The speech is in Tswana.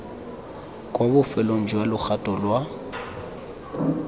kwa bofelong jwa logato lwa